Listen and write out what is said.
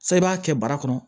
San i b'a kɛ bara kɔnɔ